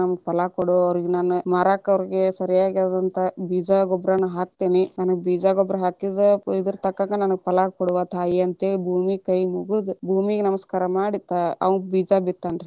ಫಲಾ ಕೊಡು, ಅವರೀಗ ನಾನ ಮಾರಾಕ ಅವ್ರಿಗೆ ಸರಿಯಾಗಿ ಆದಂತ ಬೀಜ ಗೊಬ್ರವನ್ನು ಹಾಕ್ತೇನಿ, ನಾ ಬೀಜ ಗೊಬ್ಬರಾ ಹಾಕಿದ ಇರತಕ್ಕಾನಗ ನನಗ ಫಲಾ ಕೊಡವಾ ತಾಯಿ ಅಂತ ಹೇಳಿ ಭೂಮಿಗ ಕೈ ಮುಗದ ಭೂಮಿಗಾ ನಮಸ್ಕಾರ ಮಾಡಿ ಅವ್ನ ಬೀಜ ಬಿತ್ತಾನ ರೀ.